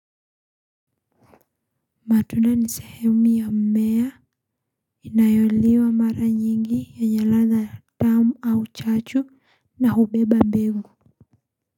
Matunda ni sehemu ya mmea. Inayoliwa mara nyingi yenye ladha tamu au chachu na hubeba mbegu.